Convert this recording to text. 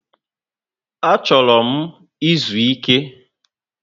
Achoro m izu Ike